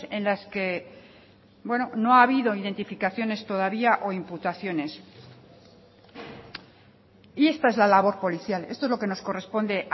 en las que no ha habido identificaciones todavía o imputaciones y esta es la labor policial esto es lo que nos corresponde